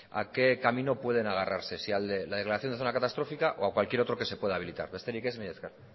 a qué camino pueden agarrarse si al de la declaración de zona catastrófica o a cualquier otro que se pueda habilitar besterik ez mila esker